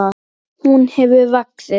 Hún hefur vaxið.